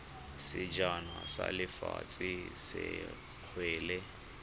sejana sa lefatshe sa kgwele